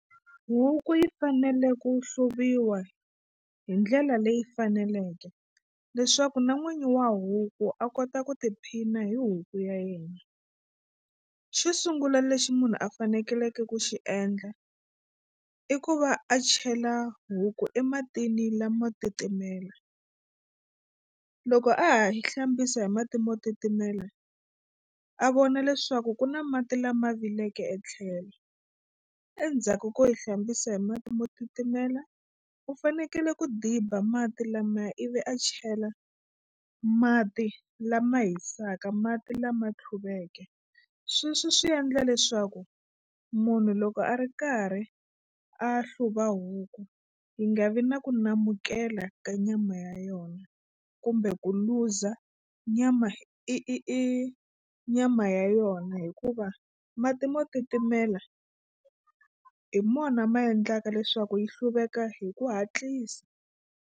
Huku yi fanele ku hluviwa hi ndlela leyi faneleke leswaku na n'winyi wa huku a kota ku tiphina hi huku ya yena. Xo sungula lexi munhu a fanekeleke ku xi endla i ku va a chela huku ematini lamo titimela loko a ha yi hlambisa hi mati mo titimela a vona leswaku ku na mati lama vileke etlhelo. Endzhaku ko yi hlambisa hi mati mo titimela u fanekele ku diba mati lamaya ivi a chela mati lama hisaka mati lama tluveke sweswo swi endla leswaku munhu loko a ri karhi a hluva huku yi nga vi na ku namukela ka nyama ya yona kumbe ku luza nyama i i i nyama ya yona hikuva mati mo titimela hi mona ma endlaka leswaku yi hluveka hi ku hatlisa.